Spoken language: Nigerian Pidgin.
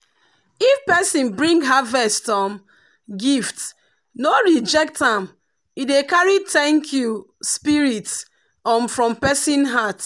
if person bring harvest um gift no reject am e dey carry thank-you spirit um from person heart.